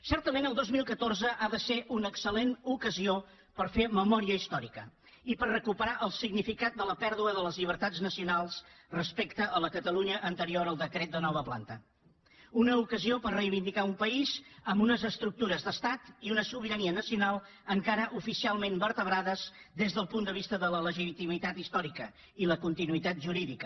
certament el dos mil catorze ha de ser una excel·lent ocasió per fer memòria històrica i per recuperar el significat de la pèrdua de les llibertats nacionals respecte a la catalunya anterior al decret de nova planta una ocasió per reivindicar un país amb unes estructures d’estat i una sobirania nacional encara oficialment vertebrades des del punt de vista de la legitimitat històrica i la continuïtat jurídica